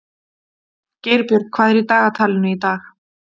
Geirbjörg, hvað er í dagatalinu í dag?